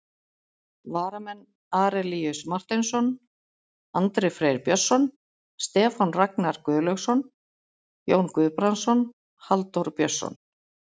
Varamenn: Arilíus Marteinsson, Andri Freyr Björnsson, Stefán Ragnar Guðlaugsson, Jón Guðbrandsson, Halldór Björnsson.